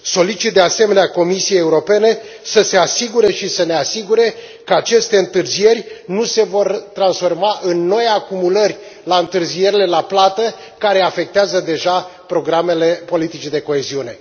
Solicit de asemenea Comisiei Europene să se asigure și să ne asigure că aceste întârzieri nu se vor transforma în noi acumulări la întârzierile la plată, care afectează deja programele politicii de coeziune.